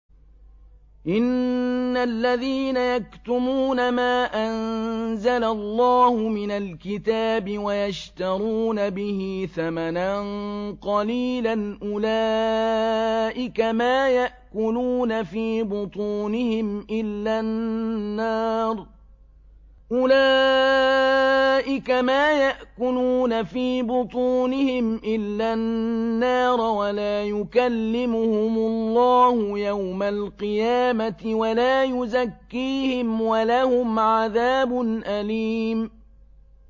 إِنَّ الَّذِينَ يَكْتُمُونَ مَا أَنزَلَ اللَّهُ مِنَ الْكِتَابِ وَيَشْتَرُونَ بِهِ ثَمَنًا قَلِيلًا ۙ أُولَٰئِكَ مَا يَأْكُلُونَ فِي بُطُونِهِمْ إِلَّا النَّارَ وَلَا يُكَلِّمُهُمُ اللَّهُ يَوْمَ الْقِيَامَةِ وَلَا يُزَكِّيهِمْ وَلَهُمْ عَذَابٌ أَلِيمٌ